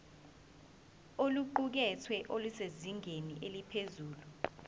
oluqukethwe lusezingeni eliphezulu